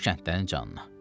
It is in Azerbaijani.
Düş kəndlərin canına.